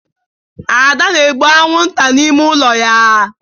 Ada na-egbu anwụnta n'ime ụlọ ya